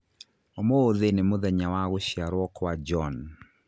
Ũmũthĩ nĩ mũthenya wa gũciarwo kwa John